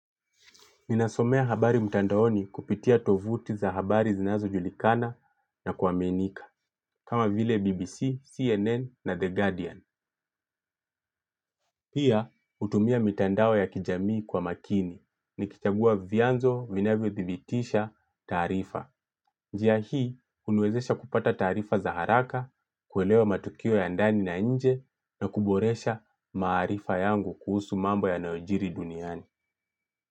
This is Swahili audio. Ninasoma habari mtandaoni kupitia tovuti za habari zinazojulikana na kuaminika, kama vile BBC, CNN na The Guardian. Pia, hutumia mitandao ya kijamii kwa makini, nikichagua vianzo vinavyothibitisha taarifa. Njia hii huniwezesha kupata taarifa za haraka, kuelewa matukio ya ndani na nje, na kuboresha maarifa yangu kuhusu mambo yanayojiri duniani.